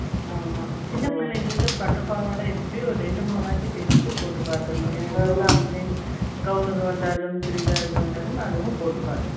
ஆமா. சின்ன பிள்ளைகளுக்கு, பட்டுப் பாவாடை, எப்படியும், ஒரு ரெண்டு, மூணு ஆச்சு, தேச்சு போட்டு பார்த்திடணும்